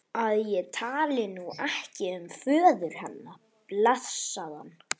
að ég tali nú ekki um föður hennar, blessaðan.